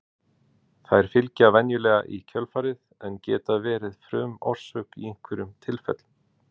Þær fylgja venjulega í kjölfarið en geta verið frumorsök í einhverjum tilfellum.